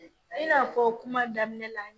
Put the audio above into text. I n'a fɔ kuma daminɛ la